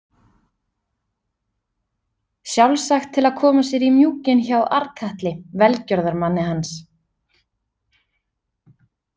Sjálfsagt til að koma sér í mjúkinn hjá Arnkatli, velgjörðamanni hans.